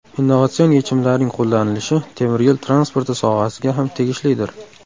Innovatsion yechimlarning qo‘llanilishi temir yo‘l transporti sohasiga ham tegishlidir.